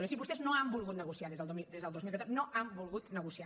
o sigui vostès no han volgut negociar des del dos mil catorze no han volgut negociar